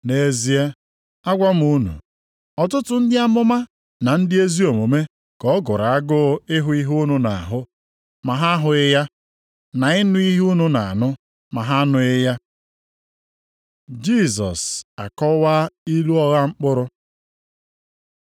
Nʼezie agwa m unu, ọtụtụ ndị amụma na ndị ezi omume ka ọ gụrụ agụụ ịhụ ihe unu na-ahụ, ma ha ahụghị ya, na ịnụ ihe unu na-anụ, ma ha anụghị ya. Jisọs akọwaa ilu ọgha mkpụrụ